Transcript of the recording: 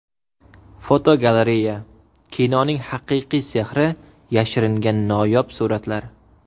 Fotogalereya: Kinoning haqiqiy sehri yashiringan noyob suratlar.